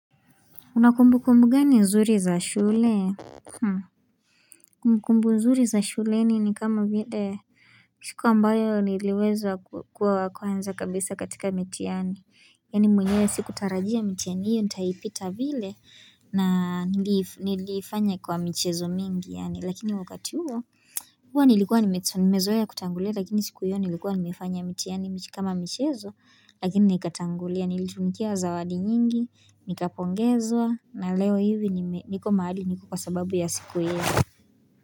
Una kumbukumbu gani nzuri za shule? Kumbukumbu nzuri za shuleni ni kama vile siku ambayo niliweza kukua wa kwanza kabisa katika mitihani. Yani mwenyewe sikutarajia mitihani hiyo, nitaipita vile na niliifanya kwa michezo mingi yani Lakini wakati huo, huwa nilikuwa nimezoea kutangulia, lakini siku hiyo nilikuwa nimefanya mitihani kama michezo, lakini nikatangulia, nilitunukiwa zawadi nyingi, nikapongezwa, na leo hivi niko mahali niko kwaababu ya siku hiyo.